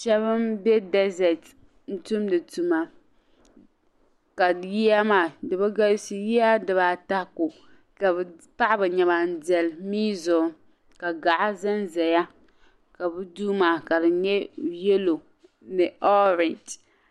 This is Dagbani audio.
Shɛba m-be dazeeti ni tumdi tuma ka yiya maa di bɛ galisi yiya dibaata ka bɛ paɣi bɛ nɛma deli miya zuɣu ka gaɣa za n-zaya ka bɛ duu maa ka di nyɛ yelo ni orangi.